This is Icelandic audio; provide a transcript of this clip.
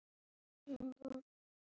Ég er rétt að byrja!